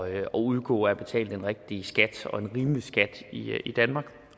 at undgå at betale den rigtige skat og en rimelig skat i danmark